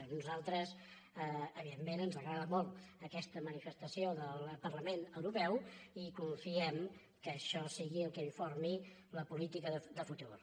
a nosaltres evidentment ens agrada molt aquesta manifestació del parlament europeu i confiem que això sigui el que informi la política de futur